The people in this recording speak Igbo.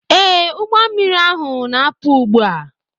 Ee, ụgbọ mmiri ahu na-apụ ugbu a.